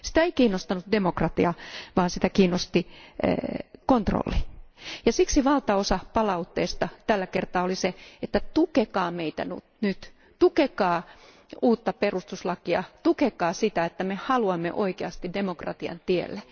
Sitä ei kiinnostanut demokratia vaan sitä kiinnosti kontrolli, ja siksi valtaosa palautteesta tällä kertaa oli se, että tukekaa meitä nyt, tukekaa uutta perustuslakia, tukekaa sitä, että me haluamme oikeasti demokratian tielle!